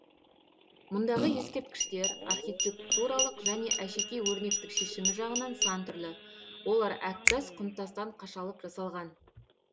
мұндағы ескерткіштер архитектуралық және әшекей өрнектік шешімі жағынан сан түрлі олар әктас құмтастан қашалып жасалған